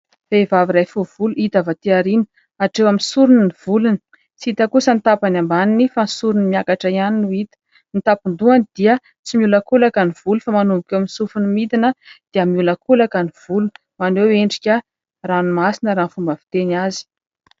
Vehivavy iray fohy volo, hita avy aty aoriana. Hatreo amin'ny sorony ny volony ; tsy hita kosa ny tapany ambaniny fa ny sorony miakatra ihany no hita. Ny tampon-dohany dia tsy miolakolaka ny volo ; fa manomboka eo amin'ny sofiny midina dia miolakolaka ny volo. Maneho endrika ranomasina raha ny fomba fiteny azy.